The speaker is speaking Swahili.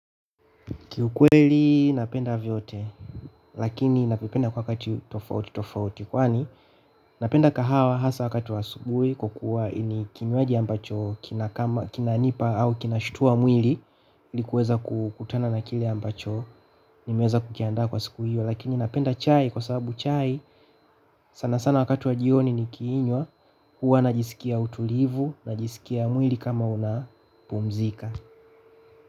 Kiukweli napenda vyote lakini navipenda kwa wakati tofauti tofauti. Kwani napenda kahawa hasa wakati wa asubuhi kwa kuwa ni kinywaji ambacho kina kama kinanipa au kinashtua mwili. Ilikuweza kukutana na kile ambacho nimeweza kukianda kwa siku hiyo lakini napenda chai kwa sababu chai sana sana wakati wa jioni nikiinywa huwa najisikia utulivu najisikia mwili kama unapumzika.